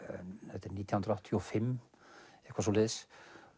þetta er nítján hundruð áttatíu og fimm eitthvað svoleiðis